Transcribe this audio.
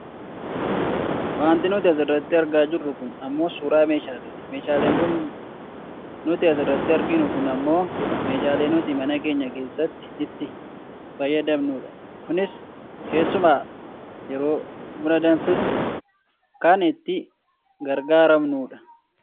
wanti nuti asurratti argaa jirru kun ammoo suuraa meeshaaleeti . meeshaaleen nuti asirratti arginu kun ammoo meeshaalee nuti mana keenya keessatti itti fayyadamnudha. kunis keessumaa yeroo buna danfisnu kan itti gargaarramnudha.